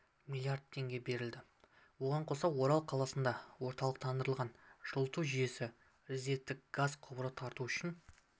млрд теңге берілді оған қоса орал қаласында орталықтандырылған жылыту жүйесіне резервтік газ құбырын тарту үшін